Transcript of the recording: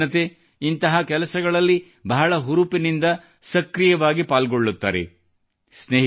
ನಮ್ಮ ಯುವಜನತೆ ಇಂಥ ಕೆಲಸಗಳಲ್ಲಿ ಬಹಳ ಹುರುಪಿನಿಂದ ಸಕ್ರೀಯವಾಗಿ ಪಾಲ್ಗೊಳ್ಳುತ್ತಾರೆ